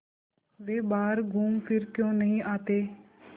वे बाहर घूमफिर क्यों नहीं आते